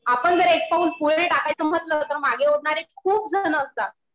आपण जर एक पाऊल पुढे टाकायचं म्हणलं तर मागे ओढणारे खूप जण असतात.